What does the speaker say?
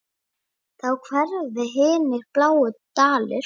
Þá hverfa hinir bláu dalir.